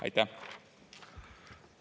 Aitäh!